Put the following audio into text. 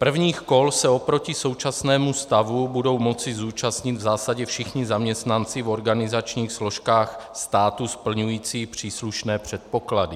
Prvních kol se oproti současnému stavu budou moci zúčastnit v zásadě všichni zaměstnanci v organizačních složkách státu splňující příslušné předpoklady.